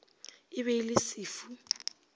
e be e le sefu